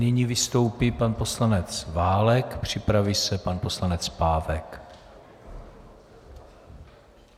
Nyní vystoupí pan poslanec Válek, připraví se pan poslanec Pávek.